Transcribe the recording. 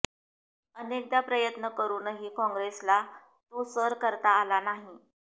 अनेकदा प्रयत्न करूनही काँग्रेसला तो सर करता आला नाही